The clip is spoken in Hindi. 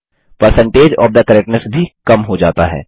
परसेंटेज ओएफ थे करेक्टनेस भी कम हो जाता है